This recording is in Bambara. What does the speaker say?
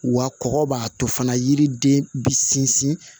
Wa kɔkɔ b'a to fana yiriden bɛ sinsin